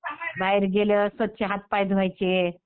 बाहेर गेलं स्वच्छ हातपाय धुवायचे.